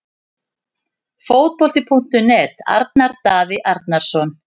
Fótbolti.net- Arnar Daði Arnarsson